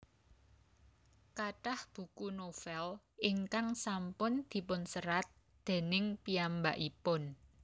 Kathah buku novel ingkang sampun dipunserat déning piyambakipun